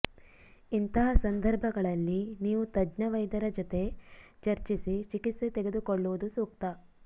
ಇಂತಹ ಸಂದರ್ಭಗಳಲ್ಲಿ ನೀವು ತಜ್ಞ ವೈದ್ಯರ ಜೊತೆ ಚರ್ಚಿಸಿ ಚಿಕಿತ್ಸೆ ತೆಗೆದುಕೊಳ್ಳುವುದು ಸೂಕ್ತ